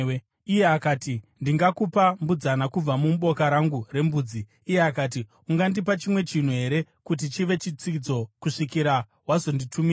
Iye akati, “Ndingakupa mbudzana kubva muboka rangu rembudzi.” Iye akati, “Ungandipa chimwe chinhu here kuti chive chitsidzo kusvikira wazonditumira?”